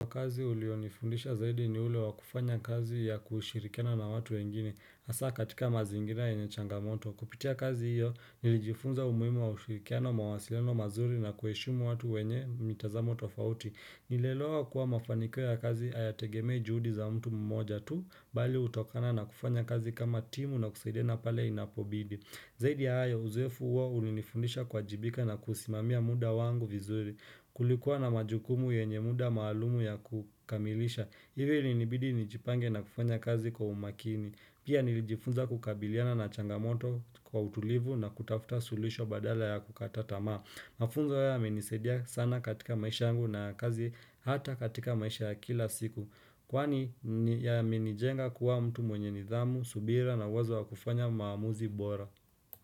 Kwa kazi ulionifundisha zaidi ni ule wakufanya kazi ya kushirikana na watu wengine, asa katika mazingira yenye changamoto. Kupitia kazi hiyo, nilijifunza umuhimu wa ushirikana mawasileno mazuri na kueshumu watu wenye mitazamo tofauti. Nileloa kuwa mafaniko ya kazi hayategemei juhudi za mtu mmoja tu, bali utokana na kufanya kazi kama timu na kusaidena pale inapobidi. Zaidi ya haya uzoefu uwa ulinifundisha kwa jibika na kusimamia muda wangu vizuri kulikuwa na majukumu yenye muda maalumu ya kukamilisha. Ivi ilinibidi nijipange na kufanya kazi kwa umakini. Pia nilijifunza kukabiliana na changamoto kwa utulivu na kutafuta sulisho badala ya kukatatama. Mafunza ya menisedia sana katika maisha angu na kazi hata katika maisha ya kila siku. Kwaani ya menijenga kuwa mtu mwenye nidhamu, subira na wazo wa kufanya maamuzi bora.